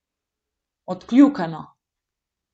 Odkljukano!